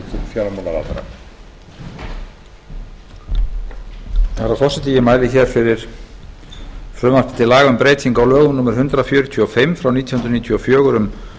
virðulegi forseti ég mæli hér fyrir frumvarpi til laga um breytingu á lögum númer hundrað fjörutíu og fimm nítján hundruð níutíu og fjögur um